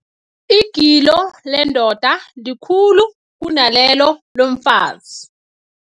Igilo lendoda likhulu kunalelo lomfazi.